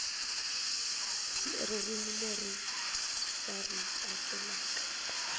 ririmi leri va ri tsakelaka